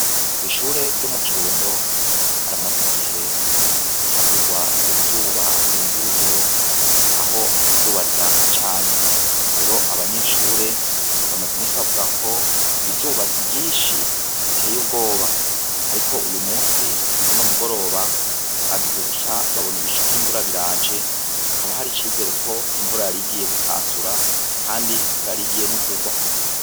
Kw'ishure ryo mu kirundo haramaze igihe havugwa uruzuba rurenze urugero aho izuba ryaka cane, rero abanyeshure bamaze iminsi bavugako izuba ariryinshi riteye ubwoba ariko uyumunsi kuruno mugoroba bagize gutya babona ibicu vy'invura biraje haba hari icizereko invura yarigiye gutasura kandi ko yarigiye no kugwa.